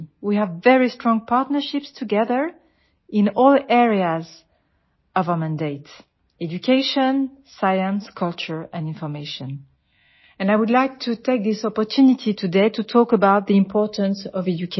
way have very strong partnerships together in all areas of our mandate education science culture and information and I would like to take this opportunity today to talk about the importance of education